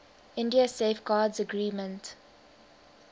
india safeguards agreement